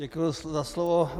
Děkuji za slovo.